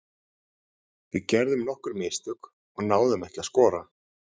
Við gerðum nokkur mistök og náðum ekki að skora.